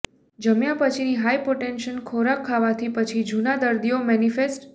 જમ્યા પછીની હાયપોટેન્શન ખોરાક ખાવાથી પછી જૂના દર્દીઓ મેનીફેસ્ટ